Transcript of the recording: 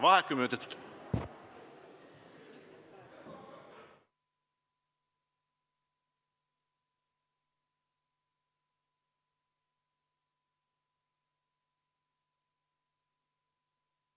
Vaheaeg kümme minutit.